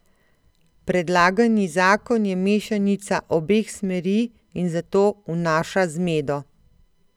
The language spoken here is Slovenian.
Predlagani zakon je mešanica obeh smeri in zato vnaša zmedo.